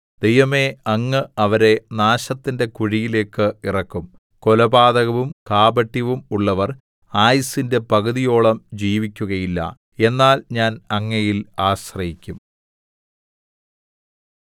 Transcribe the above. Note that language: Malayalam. ദൈവമേ അങ്ങ് അവരെ നാശത്തിന്റെ കുഴിയിലേക്ക് ഇറക്കും കൊലപാതകവും കാപട്യവും ഉള്ളവർ ആയുസ്സിന്റെ പകുതിയോളം ജീവിക്കുകയില്ല എന്നാൽ ഞാൻ അങ്ങയിൽ ആശ്രയിക്കും